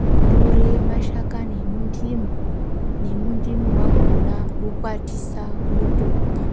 unotore mashakani emuntimu nemuntimu wakona, wokwatisa wotomwa.